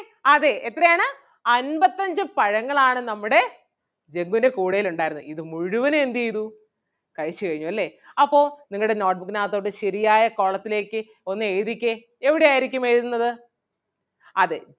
അതെ എത്രയാണ് അൻപത്തഞ്ച് പഴങ്ങളാണ് നമ്മുടെ ജഗ്ഗുൻ്റെ കൂടയിലുണ്ടായിരുന്നത് ഇത് മുഴുവനും എന്ത് ചെയ്തു കഴിച്ചു കഴിഞ്ഞു അല്ലേ അപ്പൊ നിങ്ങടെ note book നാത്തോട്ട് ശെരിയായ column ത്തിലേക്ക് ഒന്ന് എഴുതിക്കേ എവിടെ ആരിക്കും എഴുതുന്നത് അതേ,